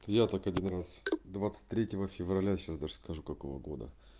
я так один раз двадцать третьего февраля сейчас даже скажу какого года